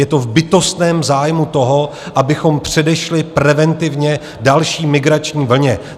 Je to v bytostném zájmu toho, abychom předešli preventivně další migrační vlně.